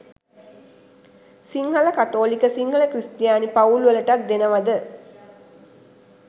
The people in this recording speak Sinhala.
සිංහල කතෝලික සිංහල ක්‍රිස්තියානි පවුල් වලටත් දෙනවද?